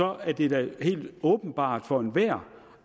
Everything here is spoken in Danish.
er det da helt åbenbart for enhver